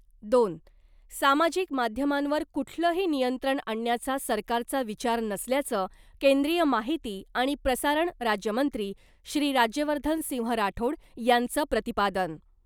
दोन सामाजिक माध्यमांवर कुठलंही नियंत्रण आणण्याचा सरकारचा विचार नसल्याचं केंद्रीय माहिती आणि प्रसारण राज्यमंत्री श्री राज्यवर्धन सिंह राठोड यांचं प्रतिपादन .